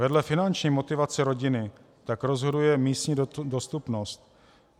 Vedle finanční motivace rodiny tak rozhoduje místní dostupnost.